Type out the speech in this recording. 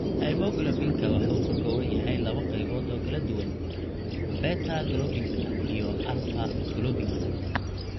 Haemoglobinka waxa uu ka kooban yahay laba qaybood oo kala duwan (subunits): beta globinka iyo alfa globinka